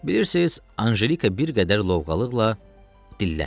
Bilirsiniz, Ancelika bir qədər lovğalıqla dilləndi.